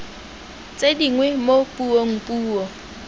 tse dingwe mo puong puo